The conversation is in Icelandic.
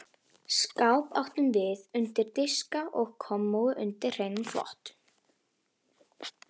Skáp áttum við undir diska og kommóðu undir hreinan þvott.